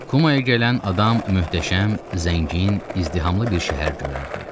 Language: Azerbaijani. Kumaya gələn adam möhtəşəm, zəngin, izdihamlı bir şəhər görərdi.